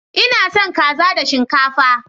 Ina son kaza da shinkafa.